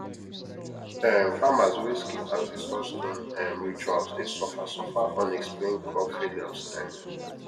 um farmers wey skip ancestor stone um rituals dey suffer suffer unexplained crop failures um